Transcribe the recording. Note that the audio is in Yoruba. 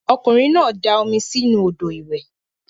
Okunrin na da omi si inu odo iwe.